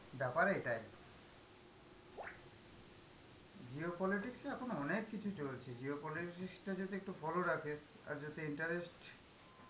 ব্যাপার এটাই. geopolitics এ এখন অনেক কিছু চলছে, geopolitics তা যদি একটু follow রাখিস, আর যদি interest~